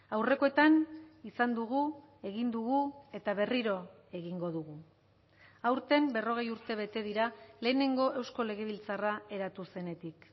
aurrekoetan izan dugu egin dugu eta berriro egingo dugu aurten berrogei urte bete dira lehenengo eusko legebiltzarra eratu zenetik